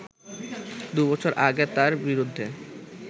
দু’বছর আগে তার বিরুদ্ধে